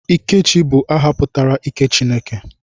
Ikechi bụ aha pụtara 'ike Chineke'